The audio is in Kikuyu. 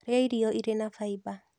Rĩa irio irĩ na faiba